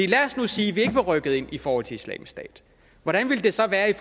lad os nu sige at vi ikke var rykket ind i forhold til islamisk stat hvordan ville det så være i